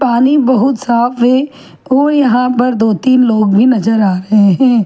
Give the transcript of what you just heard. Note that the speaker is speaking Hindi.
पानी बहुत साफ़ है और यहाँ पे दो तीन लोग ही नज़र आ रहे है।